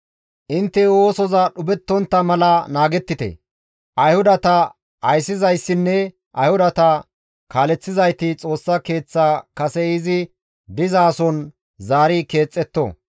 Intte oosoza dhupheththontta mala naagettite; Ayhudata ayssizayssinne Ayhudata kaaleththizayti Xoossa Keeththa kase izi dizason zaari keexetto.